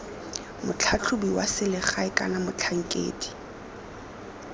motlhatlhobi wa selegae kana motlhankedi